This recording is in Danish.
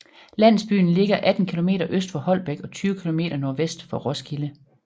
Landsbyen ligger 18 kilometer øst for Holbæk og 20 kilometer nordvest for Roskilde